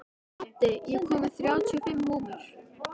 Addi, ég kom með þrjátíu og fimm húfur!